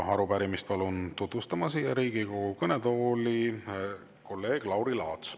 Arupärimist palun siia Riigikogu kõnetooli tutvustama kolleeg Lauri Laatsi.